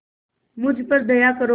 मुझ पर दया करो